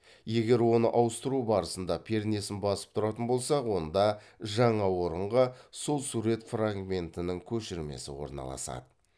егер оны ауыстыру барысында пернесін басып тұратын болсақ онда жаңа орынға сол сурет фрагментінің көшірмесі орналасады